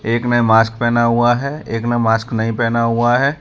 एक ने मास्क पहना हुआ है एक ने मास्क नहीं पहना हुआ है।